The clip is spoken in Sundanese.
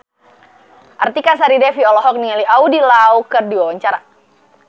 Artika Sari Devi olohok ningali Andy Lau keur diwawancara